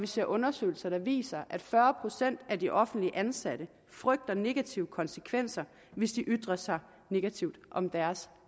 ser undersøgelser der viser at fyrre procent af de offentligt ansatte frygter negative konsekvenser hvis de ytrer sig negativt om deres